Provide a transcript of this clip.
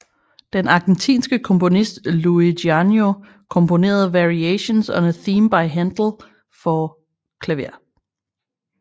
Den argentinske komponist Luis Gianneo komponerede Variations on a Theme by Handel for klaver